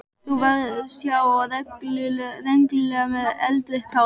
Þú varst há og rengluleg með eldrautt hár.